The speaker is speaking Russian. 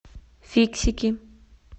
фиксики